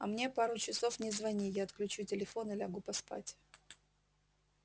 а мне пару часов не звони я отключу телефон и лягу поспать